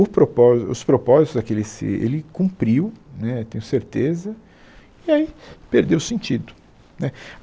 O propó os propósitos daqueles se, ele cumpriu, né, tenho certeza, e aí perdeu o sentido, né